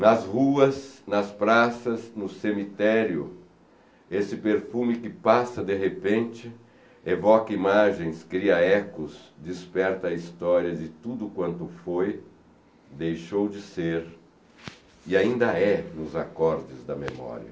Nas ruas, nas praças, no cemitério, esse perfume que passa de repente, evoca imagens, cria ecos, desperta histórias e tudo quanto foi, deixou de ser e ainda é nos acordes da memória.